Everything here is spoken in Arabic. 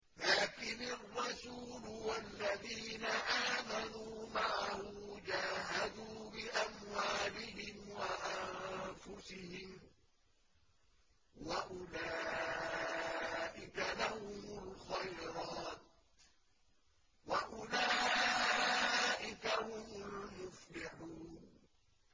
لَٰكِنِ الرَّسُولُ وَالَّذِينَ آمَنُوا مَعَهُ جَاهَدُوا بِأَمْوَالِهِمْ وَأَنفُسِهِمْ ۚ وَأُولَٰئِكَ لَهُمُ الْخَيْرَاتُ ۖ وَأُولَٰئِكَ هُمُ الْمُفْلِحُونَ